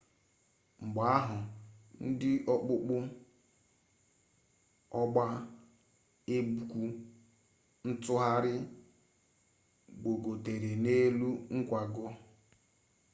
mgbe ahụ ndị okpukpe ọgba egwu ntụgharị gbogotere n'elu nkwago